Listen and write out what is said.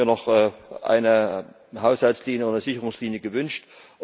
Da hätte ich mir noch eine Haushaltslinie oder Sicherungslinie gewünscht.